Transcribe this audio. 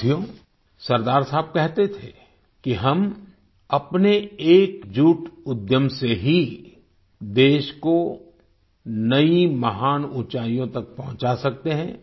साथियो सरदार साहब कहते थे कि हम अपने एकजुट उद्यम से ही देश को नई महान ऊँचाइयों तक पहुंचा सकते हैं